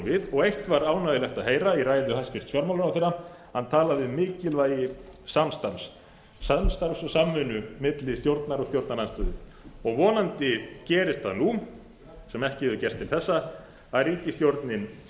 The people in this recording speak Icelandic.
við og eitt var ánægjulegt að heyra í ræðu hæstvirts fjármálaráðherra hann talaði um mikilvægi samstarfs samstarfs og samvinnu milli stjórnar og stjórnarandstöðu vonandi gerist það nú sem ekki hefur gerst til þessa að ríkisstjórnin